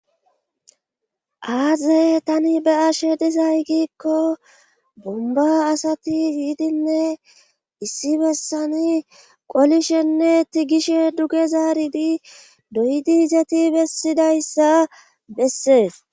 Aaze tani be'ashe dizay giikko bomba asati yiidinne issi bessani qolishenne tigishe duge zaaridi doydi izeti bessidayssa bessees.